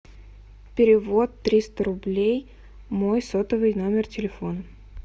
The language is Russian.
перевод триста рублей мой сотовый номер телефона